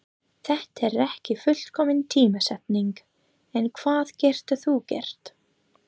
Þetta er ekki fullkomin tímasetning en hvað getur þú gert?